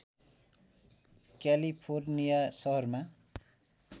California सहरमा